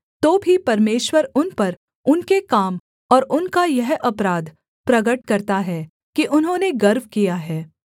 तो भी परमेश्वर उन पर उनके काम और उनका यह अपराध प्रगट करता है कि उन्होंने गर्व किया है